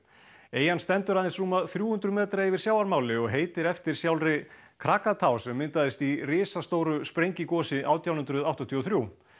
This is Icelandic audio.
eyjan stendur aðeins rúma þrjú hundruð metra yfir sjávarmáli og heitir eftir sjálfri sem myndaðist í risastóru sprengigosi átján hundruð áttatíu og þrjú